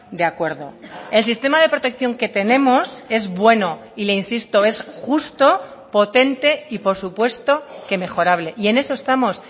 de acuerdo el sistema de protección que tenemos es bueno y le insisto es justo potente y por supuesto que mejorable y en eso estamos